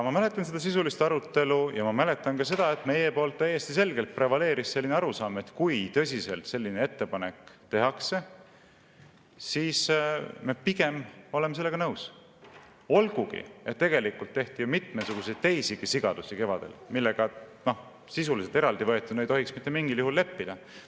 Ma mäletan seda sisulist arutelu ja ma mäletan ka seda, et meie poolt täiesti selgelt prevaleeris arusaam, et kui tõsiselt tehakse selline ettepanek, siis me pigem oleme sellega nõus, olgugi et tegelikult tehti kevadel ju mitmesuguseid teisigi sigadusi, millega sisuliselt eraldi võetuna ei tohiks mitte mingil juhul leppida.